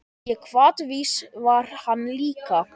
Og hvatvís var hann líka.